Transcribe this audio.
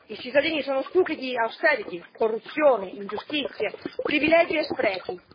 I cittadini sono stufi di austerity, corruzione, ingiustizie, privilegi e sprechi.